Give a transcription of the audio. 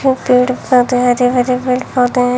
पेड़ पौधे हरे भरे पेड़ पौधे हैं।